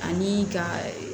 Ani ka